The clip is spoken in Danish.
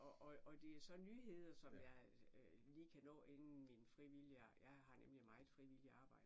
Og og og det så nyheder som jeg lige kan nå inden min frivillige jeg har nemlig meget frivilligt arbejde